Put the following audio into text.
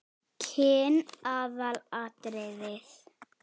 Kyn aðalatriði?